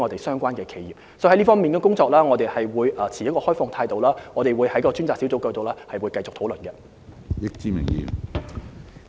所以，在這方面我們會持開放態度，並在上述專責小組平台繼續進行討論。